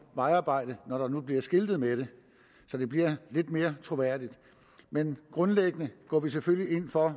vejarbejde når der nu bliver skiltet med det så det bliver lidt mere troværdigt men grundlæggende går vi selvfølgelig ind for